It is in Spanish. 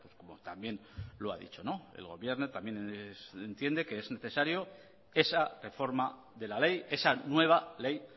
como también lo ha dicho el gobierno también entiende que es necesario esa reforma de la ley esa nueva ley